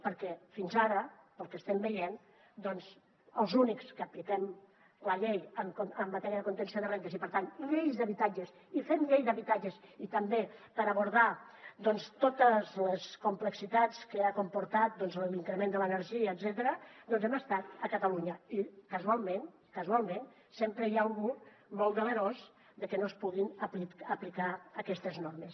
perquè fins ara pel que estem veient els únics que apliquem la llei en matèria de contenció de rendes i per tant lleis d’habitatges i fem llei d’habitatges també per abordar totes les complexitats que ha comportat l’increment de l’energia etcètera hem estat a catalunya i casualment casualment sempre hi ha algú molt delerós de que no es puguin aplicar aquestes normes